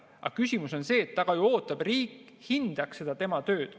Aga küsimus on selles, et ta ka ju ootab, et riik hindaks tema tööd.